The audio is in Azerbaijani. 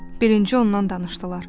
Birinci ondan danışdılar.